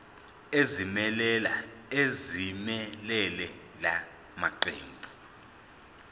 ezimelele la maqembu